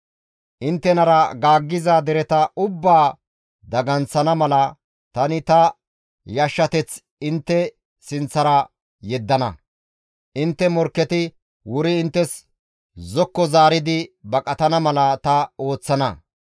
«Inttenara gaaggiza dereta ubbaa daganththana mala tani ta yashshateth intte sinththara yeddana; intte morkketi wuri inttes zokko zaaridi, baqatana mala ta ooththana.